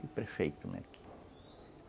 O prefeito, né, aqui.